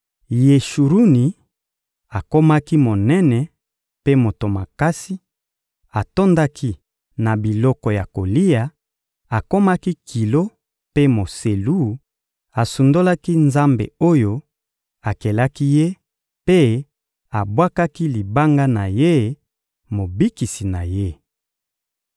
Yeshuruni akomaki monene mpe moto makasi; atondaki na biloko ya kolia, akomaki kilo mpe moselu; asundolaki Nzambe oyo akelaki ye mpe abwakaki Libanga na ye, Mobikisi na ye.